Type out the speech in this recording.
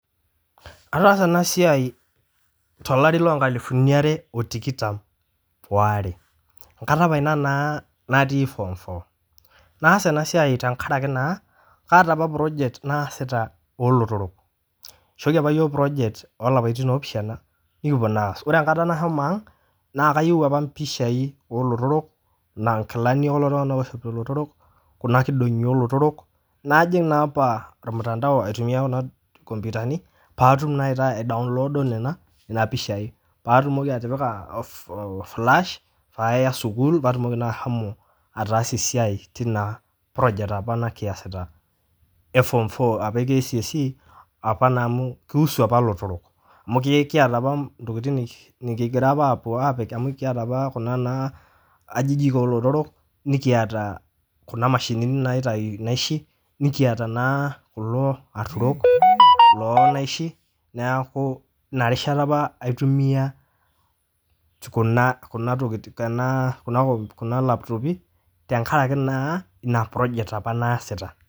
Ataasa ena siai to lari loo nkalufuni are o tikitam oare, nkata apa ina naa natii form four, naasa ena siaai tengaraki naa kaata apa project naasita oolotorrok, eishooki apa yook project oolaptin loopishana nikipo naa aas, ore enkata nashomo aang' naa kayeu apa mpishai oo lototrok naa inkilani oo lotorok, kuna nkidong'i oo lotorok najing' naa apa olmutandao aitumiya kuna nkopitani paatum nai aitaa aidownloodo nena pishai paatumoki atipika ilfilaash paaya sukuul paatumoki naa ashomo ataasie siai teina project apa nikiasita e form four apa e KCSE apa naa amu keusu apa lotorok, amu kieata apa ntokitin kigira apa aapik amu kieta apa kuna naa ajijik oo lotorok, nikieta kuna mashinini naitai naishi, nikieta naa kulo aturok loo naishi naaku ina rishata apa aitumiya kuna lapitoopi tengaraki naa ina project apa naaasita.